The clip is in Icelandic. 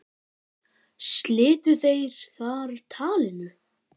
Slitu þeir þar talinu.